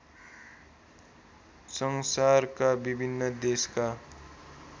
संसारका विभिन्न देशका